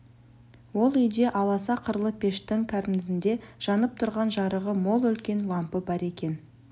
ол үйде аласа қырлы пештің кәрнезінде жанып тұрған жарығы мол үлкен лампы бар екен